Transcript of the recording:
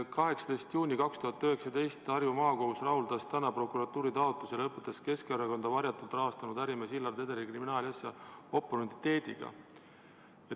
18. juuni 2019: "Harju Maakohus rahuldas täna prokuratuuri taotluse ja lõpetas Keskerakonda varjatult rahastanud ärimees Hillar Tederi kriminaalasja oportuniteediga.